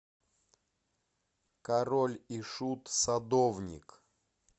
король и шут садовник